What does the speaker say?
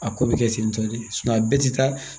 A ko bɛ kɛ ten tɔ de a bɛɛ tɛ taa